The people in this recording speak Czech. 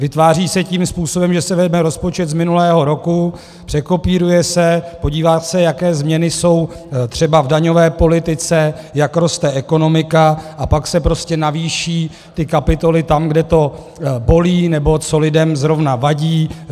Vytváří se tím způsobem, že se vezme rozpočet z minulého roku, překopíruje se, podívá se, jaké změny jsou třeba v daňové politice, jak roste ekonomika, a pak se prostě navýší ty kapitoly tam, kde to bolí, nebo co lidem zrovna vadí.